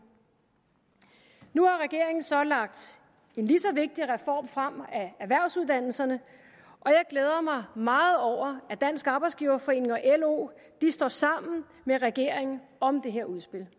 nu har regeringen så lagt en lige så vigtig reform frem af erhvervsuddannelserne og jeg glæder mig meget over at dansk arbejdsgiverforening og lo står sammen med regeringen om det her udspil